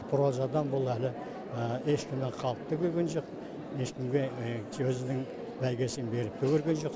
прозадан бұл әлі ешкімнен қалып та көрген жоқ ешкімге сөзінің бәйгесін беріп те көрген жоқ